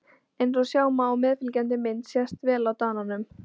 Eins og sjá má á meðfylgjandi mynd sést vel á Dananum.